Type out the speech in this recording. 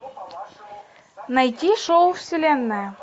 найти шоу вселенная